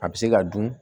A bɛ se ka dun